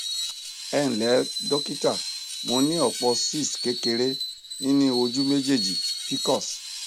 ẹ ǹlẹ dókítà mo ní ọpọ cs] cysts kékeré nínú ojú méjèèjì pcos